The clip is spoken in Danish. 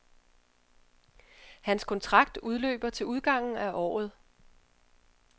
Hans kontrakt udløber til udgangen af året.